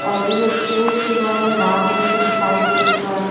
और उरा चोच बा ऊ लाल रंग का दिखाई देत बा।